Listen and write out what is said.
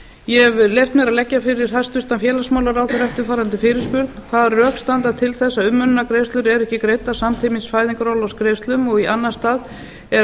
ég hef leyft mér að leggja fyrir hæstvirtan félagsmálaráðherra eftirfarandi fyrirspurn hvað rök standa til þess að umönnunargreiðslur eru ekki greiddar samtímis fæðingarorlofsgreiðslum og í annan stað er